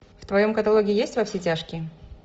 в твоем каталоге есть во все тяжкие